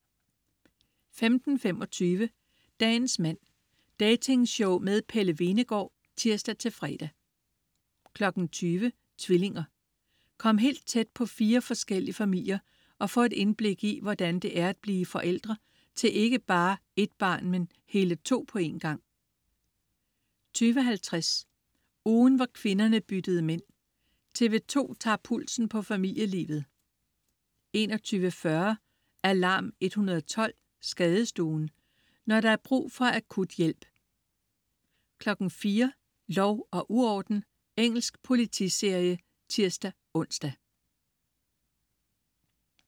15.25 Dagens mand. Dating-show med Pelle Hvenegaard (tirs-fre) 20.00 Tvillinger. Kom helt tæt på fire forskellige familier og få et indblik i, hvordan det er at blive forældre til ikke bare et barn, men hele to på en gang 20.50 Ugen hvor kvinderne byttede mænd. TV 2 tager pulsen på familielivet 21.40 Alarm 112. Skadestuen. Når der er brug for akut hjælp 04.00 Lov og uorden. Engelsk politiserie (tirs-ons)